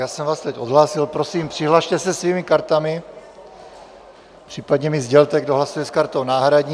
Já jsem vás teď odhlásil, prosím, přihlaste se svými kartami, případně mi sdělte, kdo hlasuje s kartou náhradní.